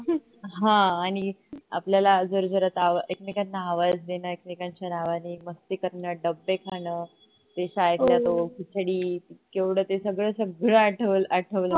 ह आणि आपल्याला जोर जोरात आवाज एकमेकांना आवाज देण एकमेकांच्या नावानी मस्ती करण एकमेकांचे डब्बे खाण ते शाळेतला तो खिचडी केवढ ते सगळ सगळ आठव आठवलं